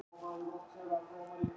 Er klónun manna lögleg á Íslandi?